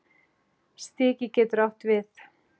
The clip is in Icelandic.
Stiki getur átt við